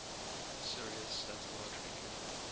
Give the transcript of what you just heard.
sirius satellite radio